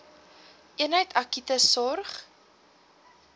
eenheid akute sorg